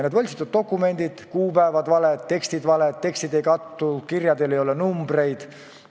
Nendes dokumentides on kuupäevad valed, tekstid valed, tekstid ei kattu, kirjadel ei ole numbreid.